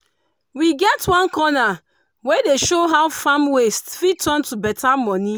we get one corner wey dey show how farm waste fit turn to beta money